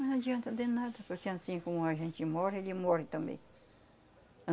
Mas não adianta de nada, porque anssim como a gente morre, ele morre também.